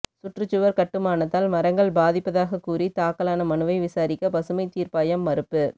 சுற்றுச்சுவா் கட்டுமானத்தால் மரங்கள் பாதிப்பதாகக் கூறி தாக்கலான மனுவை விசாரிக்க பசுமைத் தீா்ப்பாயம் மறுப்பு